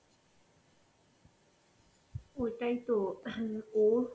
ওটাই তো ও